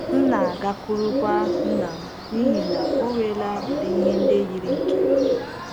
M na - agakwurukwa nna m n’ihi na o nwela udị ihe ndị yiri nke m.